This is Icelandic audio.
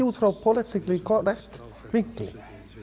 út frá politically correct vinkli